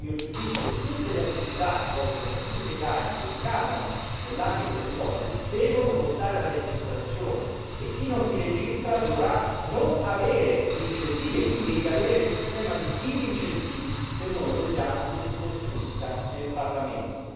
Quindi, a mio giudizio, tutte le attività svolte da studi legali che ricadono nell'ambito del lobbying devono portare alla registrazione e chi non si registra dovrà non godere degli incentivi e ricadere quindi nel sistema di disincentivi che noi vogliamo si costruisca nel Parlamento.